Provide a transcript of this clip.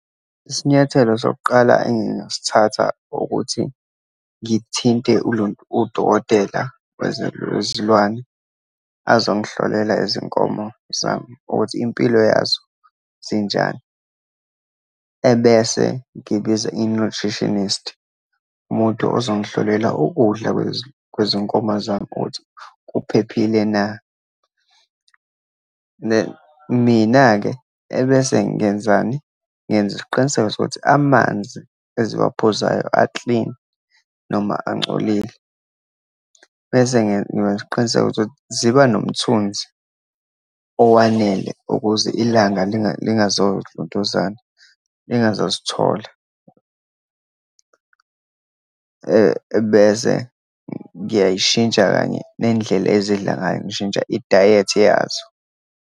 Isinyathelo sokuqala engingasithatha ukuthi ngithinte udokotela wezilwane azongihlolela izinkomo zami ukuthi impilo yazo zinjani, ebese ngibiza i-nutritionist, umuntu ozongihlolela ukudla kwezinkomo zami ukuthi kuphephile na. Mina-ke, ebese ngenzani? Ngenza isiqiniseko sokuthi amanzi eziwaphuzayo a-clean noma angcolile. Bese ngenza isiqiniseko ukuthi ziba nomthunzi owanele ukuze ilanga lingazolontuzana, lingazozithola, ebese ngiyayishintsha kanye nendlela ezidla ngayo. Ngishintsha i-diet yazo.